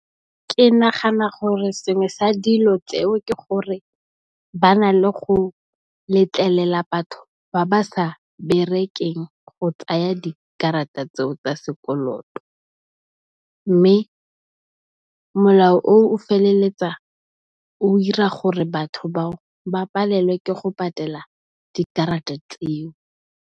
Ke nagana gore sengwe sa dilo tseo ke gore ba na le go letlelela batho ba ba sa berekeng go tsaya dikarata tseo tsa sekoloto. Mme, molao o feleletsa o ira gore batho bao ba palelwe ke go patela dikarata tseo.